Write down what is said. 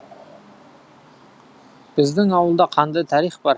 біздің ауылда қандай тарих бар